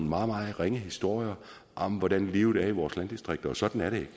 meget meget ringe historier om hvordan livet er i vores landdistrikter og sådan er det